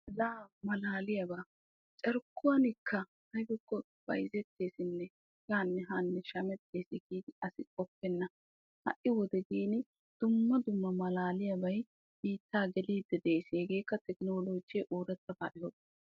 Laa maalaliyaaba carkkuwan asay bayzzettesinne shameetes giidi asi qoppennashi ha'i tekknoloojiyan doomidooge ereetees.